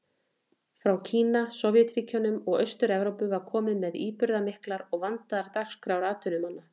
Frá Kína, Sovétríkjunum og Austur-Evrópu var komið með íburðarmiklar og vandaðar dagskrár atvinnumanna.